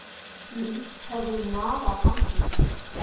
Mýs höfðu nagað andlitið.